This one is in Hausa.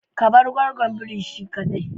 Ka bar gwaggon birin shi kadai.